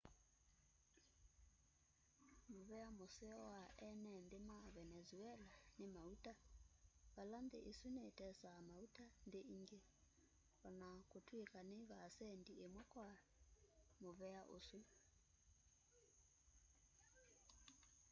muvea museo wa ene nthi ma venezuela ni mauta vala nthi isu nitesaa mauta nthi ingi o na kutwika ni vaasendi imwe kwa muvea usu